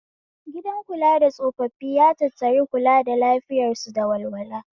Gidan kula da tsofaffi ya tattari kula da lafiyar su da walwala